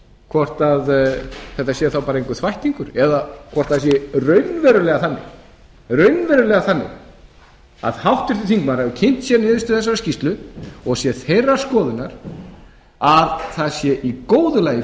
hvort þetta sé þá bara einhver þvættingur eða hvort það sé raunverulega þannig að háttvirtur þingmaður hafi kynnt sér niðurstöðu þessarar skýrslu og sé þeirrar skoðunar að það sé í góðu lagi fyrir